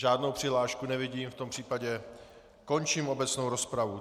Žádnou přihlášku nevidím, v tom případě končím obecnou rozpravu.